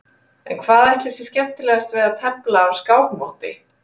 En hvað ætli sé skemmtilegast við að tefla á skákmóti?